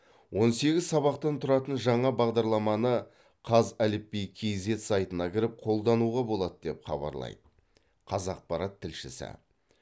он сегіз сабақтан тұратын жаңа бағадарламаны қазәліпби киззет сайтына кіріп қолдануға болады деп хабарлайды қазақпарат тілшісі